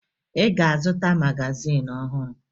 Ị ga-azụta magazin ọhụrụ